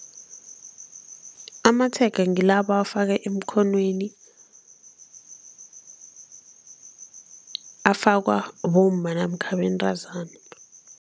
Amatshega ngila abawafaka emkhonweni, afakwa bomma nakha abentazana.